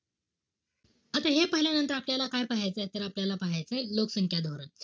आता हे पाहिल्यानंतर आपल्याला काय पाहायचय? त आपल्याला पाहायचंय, लोकसंख्या धोरण.